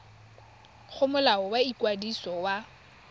go molao wa ikwadiso wa